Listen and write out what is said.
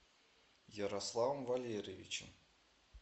ярославом валериевичем